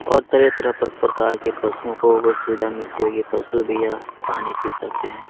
और तरह-तरह के पर प्रकार के पशुओं को गो सुविधा मिलती होगी पशु भी यहां पानी पी सकते हैं।